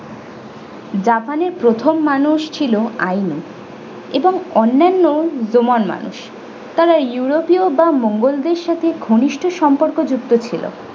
japan এ প্রথম মানুষ ছিল ainu এবং অন্যান্য jomon মানুষ তারা european বা মোঙ্গলদের সাথে ঘনিষ্ঠ সম্পর্ক যুক্ত ছিল।